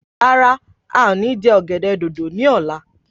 Rárá, a o ní je ọ̀gẹ̀dẹ̀ dòdò ni ọ̀la.